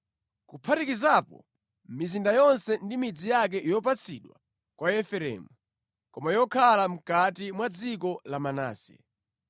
kuphatikizapo mizinda yonse ndi midzi yake yopatsidwa kwa Efereimu, koma yokhala mʼkati mwa dziko la Manase.